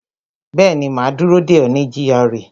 Bẹẹni, ma dúró dè ọ́ ní gra